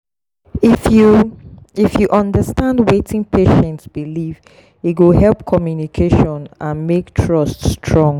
if you if you understand wetin patient believe e go help communication and make trust strong.